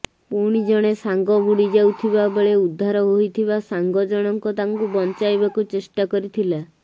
ପୁଣି ଜଣେ ସାଙ୍ଗ ବୁଡି ଯାଉଥିବା ବେଳେ ଉଦ୍ଧାର ହୋଇଥିବା ସାଙ୍ଗ ଜଣଙ୍କ ତାଙ୍କୁ ବଞ୍ଚାଇବାକୁ ଚେଷ୍ଟା କରିଥିଲା